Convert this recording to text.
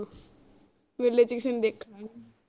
ਮੇਲੇ ਚ ਕਿਸੇ ਨੂੰ ਦੇਖਣਾ